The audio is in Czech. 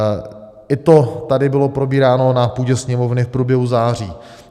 I to tady bylo probíráno na půdě Sněmovny v průběhu září.